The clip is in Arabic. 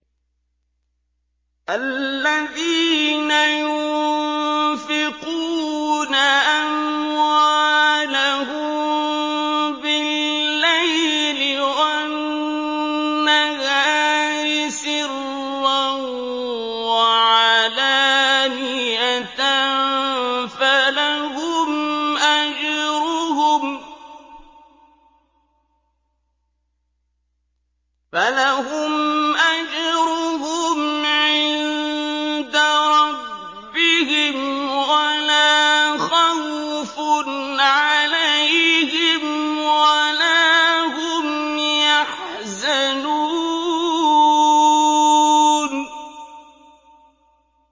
الَّذِينَ يُنفِقُونَ أَمْوَالَهُم بِاللَّيْلِ وَالنَّهَارِ سِرًّا وَعَلَانِيَةً فَلَهُمْ أَجْرُهُمْ عِندَ رَبِّهِمْ وَلَا خَوْفٌ عَلَيْهِمْ وَلَا هُمْ يَحْزَنُونَ